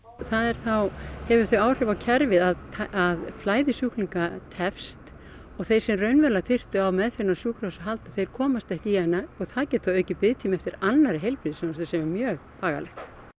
það þá hefur þau áhrif á kerfið að flæði sjúklinga tefst og þeir sem raunverulega þyrftu á meðferð á sjúkrahúsi að halda þeir komast ekki í hana og það getur aukið biðtíma eftir annarri heilbrigðisþjónustu sem er mjög bagalegt